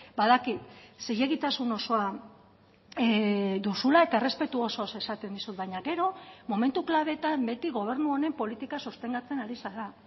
badakit zilegitasun osoa duzula eta errespetu osoz esaten dizut baina gero momentu klabeetan beti gobernu honen politika sostengatzen ari zara